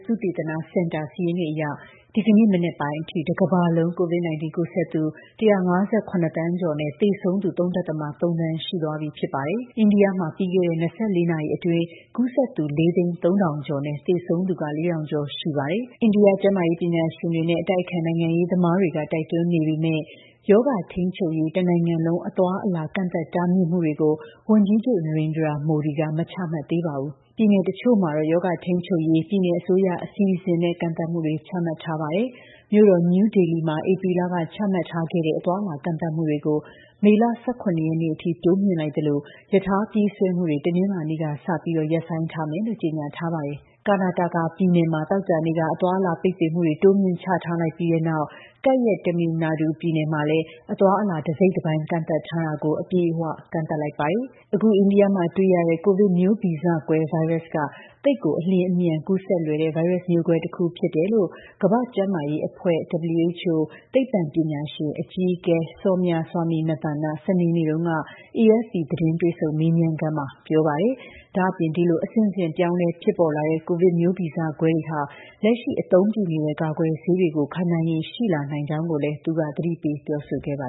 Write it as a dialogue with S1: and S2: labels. S1: သုတေသနစင်တာ စာရင်းတွေအရ ဒီကနေ့ မနက်ပိုင်းအထိ တကမ္ဘာလုံး COVID-19 ကူးစက်သူ ၁၅၇ သန်းကျော်နဲ့ သေဆုံးသူ ၃.၃ သန်း ရှိသွားပြီဖြစ်ပါတယ်။ အိန္ဒိယမှာ ပြီးခဲ့တဲ့ ၂၄ နာရီအတွင်း ကူးစက်သူ ၄၀၃,၀၀၀ ကျော်နဲ့ သေဆုံးသူ ၄,၀၀၀ ကျော်ရှိပါတယ်။ အိန္ဒိယကျန်းမာရေး ပညာရှင်တွေနဲ့ အတိုက်အခံ နိုင်ငံရေးသမားတွေ တိုက်တွန်းနေပေမယ့် ရောဂါထိန်းချုပ်ရေး တနိုင်ငံလုံး အသွားအလာ ကန့်သတ်မှုတွေကိုတော့ ဝန်ကြီးချုပ် Narendra Modi က မချမှတ်သေးပါဘူး။ ပြည်နယ်တချို့မှာတော့ ရောဂါထိန်းချုပ်ရေး ပြည်နယ်အစိုးရ အစီအစဉ်နဲ့ ကန့်သတ်မှုတွေ ချမှတ်ထားပါတယ်။ မြို့တော် နယူးဒေလီမှာ ဧပြီလက ချမှတ်ထားခဲ့တဲ့ အသွားအလာ ကန့်သတ်မှုတွေကို မေလ ၁၇ ရက်နေ့အထိ တိုးမြှင့်လိုက်သလို ရထားပြေးဆွဲမှုတွေကို တနင်္လာနေ့ကစပြီး ရပ်ဆိုင်းထားမယ်လို့ ကြေညာထားပါတယ်။ Karnataka ပြည်နယ်မှာ သောကြာနေ့က အသွားအလာ ပိတ်ပင်မှုတွေ တိုးမြှင့် ချထားလိုက်ပြီးတဲ့နောက် ကပ်ရက် Tamil Nadu ပြည်နယ်မှာလည်း အသွားအလာ တစိတ်တပိုင်း ကန့်သတ်ထားတာကို အပြည့်အဝ တိုးမြှင့်သတ်မှတ်လိုက်ပါတယ်။ အခု အိန္ဒိယမှာတွေ့ရတဲ့ ကိုဗစ်မျိုးဗီဇကွဲ ဗိုင်းရပ်စ်က သိပ်ကို အလျင်အမြန် ကူးစက်လွယ်တဲ့ ဗိုင်းရပ်မျိုးကွဲတခု ဖြစ်တယ်လို့ ကမ္ဘာ့ကျန်းမာရေးအဖွဲ့ (WHO) သိပ္ပံပညာရှင် အကြီးအကဲ Soumya Swaminathan က စနေနေ့တုန်းက AFP သတင်း တွေ့ဆုံမေးမြန်းခန်းမှာ ပြောပါတယ်။ ဒါ့အပြင် ဒီလို အဆင့်ဆင့်ပြောင်းလဲဖြစ်ပေါ်လာတဲ့ ကိုဗစ်မျိုးဗီဇကွဲတွေဟာ လက်ရှိအသုံးပြုနေတဲ့ ကာကွယ်ဆေးတွေကို ခံနိုင်ရည်ရှိလာနိုင်ကြောင်းလည်း သူက သတိပေး ပြောဆိုခဲ့ပါ